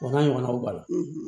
O n'a ɲɔgɔnnaw balɔn